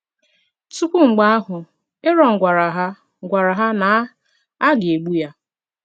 Tupu mgbe ahụ, Aron gwara ha gwara ha na a ga-egbu ya.